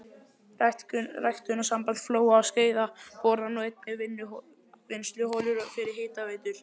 Ræktunarsamband Flóa og Skeiða borar nú einnig vinnsluholur fyrir hitaveitur.